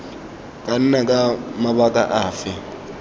ka nna ka mabaka afe